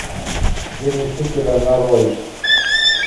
день учителя нарой